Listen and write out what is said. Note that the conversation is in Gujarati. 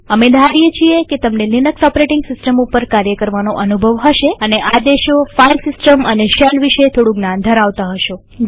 અમે ધારીએ છીએ કે તમને લિનક્સ ઓપરેટીંગ સિસ્ટમ ઉપર કાર્ય કરવાનો અનુભવ હશે અને આદેશોફાઈલ સિસ્ટમ અને શેલ વિશે થોડું જ્ઞાન ધરાવતા હશો